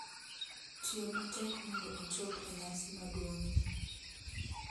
Tiyo matek mondo ochop e nyasi maduong’ni.